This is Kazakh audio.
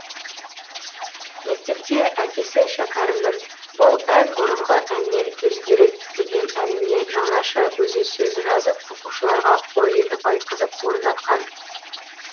мектепте әкесі шәкәрімнің бұл ән бұрынғы әннен өзгерек деген әніне жаңаша өзі сөз жазып оқушыларға хор етіп айтқызып орындатқан